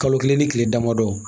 Kalo kelen ni kile damadɔ